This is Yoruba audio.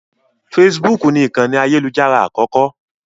Facebook ni ìkànì ayélujára àkọ́kọ́.